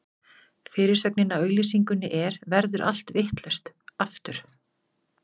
Fyrirsögnin á auglýsingunni er: Verður allt vitlaust, aftur?